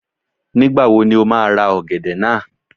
Nígbàwo ni o má a ra ọ̀gẹ̀dẹ̀ náà?